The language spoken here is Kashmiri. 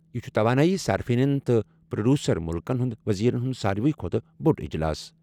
یہٕ چُھ توانٲئی صارفینن تہٕ پروڈیوسر ملکن ہنٛد وزیرن ہنٛد ساروی کھوتہٕ بھڑ اجلاس۔